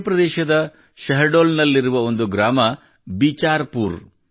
ಮಧ್ಯಪ್ರದೇಶದ ಶಹಡೋಲ್ ನಲ್ಲಿರುವ ಒಂದು ಗ್ರಾಮ ಬಿಚಾರ್ ಪೂರ್